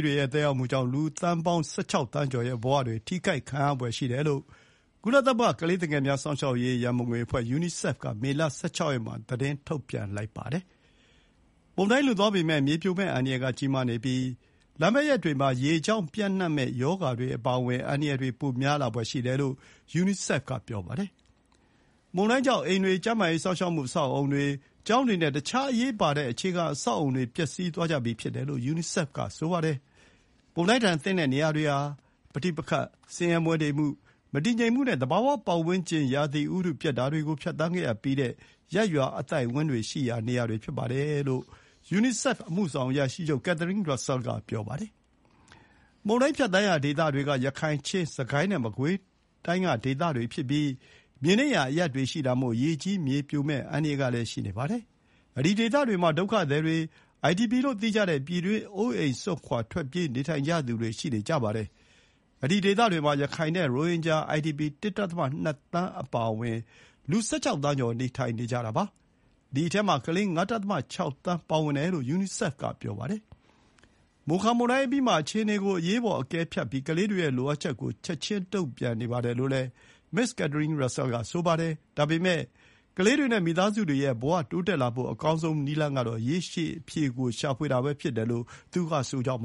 တွေရဲ့သက်ရောက်မှုကြောင့် လူဦးရေ ၁၆ သန်းကျော် ရဲ့ဘဝတွေ ထိခိုက်ခံရဖွယ်ရှိနေတယ်လို့ ကုလသမဂ္ဂ ကလေးသူငယ်များ စောင့်ရှောက်ရေး ရံပုံငွေအဖွဲ့ (ယူနီဆက်ဖ်) က မေလ ၁၆ ရက်မှာ သတင်းထုတ်ပြန်လိုက်ပါတယ်။ မုန်တိုင်းလွန်သွားပေမဲ့ မြေပြိုမယ့်အန္တရာယ်ကကြီးမားနေပြီး လာမယ့်ရက်တွေ မှာ ရေကြောင့်ပျံ့မယ့်ရောဂါတွေအပါအဝင် အန္တရာယ်တွေပိုများလာဖွယ်ရှိတယ်လို့ ယူနီဆက်ဖ် က ပြောပါတယ်။ မုန်တိုင်းကြောင့် အိမ်တွေ၊ ကျန်းမာရေး စောင့်ရှောက်မှု အဆောက်အအုံတွေ၊ ကျောင်းတွေနဲ့ တခြားအရေးပါတဲ့ အခြေခံ အဆောက်အအုံတွေ ပျက်စီးသွားကြပြီးဖြစ်တယ်လို့ ယူနီဆက်ဖ် က ဆိုပါတယ်။ “မုန်တိုင်းဒဏ်သင့်တဲ့နေရာတွေဟာ ပဋိပက္ခ၊ ဆင်းရဲမွဲတေမှု၊ မတည်ငြိမ်မှုနဲ့ သဘာဝပတ်ဝန်းကျင် ရာသီဥတုပျက်တာတွေကိုဖြတ်သန်းခဲ့ရပြီးတဲ့ ရပ်ရွာအသိုက်အဝန်းတွေရှိရာ နေရာတွေဖြစ်တယ်လို့ ယူနီဆက်ဖ် အမှုဆောင်အရာရှိချုပ် Catherine Russell က ပြောပါတယ်။ မုန်တိုင်းဖြတ်သန်းရာဒေသတွေက ရခိုင်၊ ချင်း၊ စစ်ကိုင်းနဲ့ မကွေးဒေသတွေဖြစ်ပြီး မြေနိမ့်ရာအရပ်တွေရှိတာမို့ ရေကြီးမြေပြို အန္တရာယ်ရှိနေပါတယ်။ ဒီ ဒေသမှာ ဒုက္ခသည်တွေ၊ အိုင်ဒီပီလို့သိကြတဲ့ ပြည်တွင်းအိုးအိမ်စွန့်ခွါထွက်ပြေးနေထိုင်ကြသူတွေ ဖြစ်ကြပါတယ်။ ဒီဒေသတွေမှာ ရခိုင်နဲ့ရိုဟင်ဂျာ အိုင်ဒီပီ ၁.၂ သန်း အပါအဝင် လူ ၁၆ သန်းကျော် နေထိုင်နေကြတာပါ။ ဒီအထဲမှာ ကလေး ၅.၆ သန်းပါဝင်တယ်လို့ ယူနီဆက်ဖ် က ပြောပါတယ်။ မိုခါမုန်တိုင်းအပြီးမှာ အခြေအနေကို အရေးပေါ်အကဲဖြတ်ပြီး ကလေးတွေရဲ့လိုအပ်ချက်ကို ချက်ချင်းတုံ့ပြန်နေပါတယ်လို့လည်း မစ္စ Catherine Russell က ပြောပါတယ်။ ဒါပေမဲ့ ကလေးတွေနဲ့ မိသားစုတွေရဲ့ဘဝတိုးတက်လာဖို့ အကောင်းဆုံးနည်းလမ်းကတော့ ရေရှည်အဖြေကို ရှာဖွေတာပဲဖြစ်ပါတယ်လို့ သူကဆိုပ